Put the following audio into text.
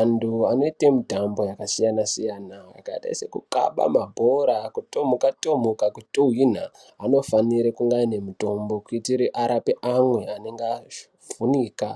Antu anoite mitambo yakasiyanasiyana yakaita sekukhaba mabhora ,kutomuka tomuka , kutuhwinha ,munofanira kuwane mitombo kuitira arape anhu anenge avhunika